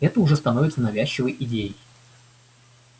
это уже становится навязчивой идеей